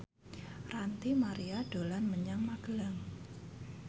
Ranty Maria dolan menyang Magelang